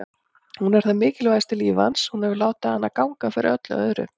Hún er það mikilvægasta í lífi hans, hann hefur látið hana ganga fyrir öllu öðru.